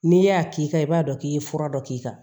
N'i y'a k'i kan i b'a dɔn k'i ye fura dɔ k'i kan